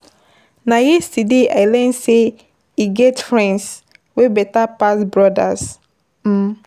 Na yesterday I learn sey e get friends wey beta pass brodas um.